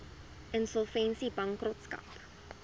insolvensiebankrotskap